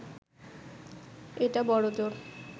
এটা বড়জোর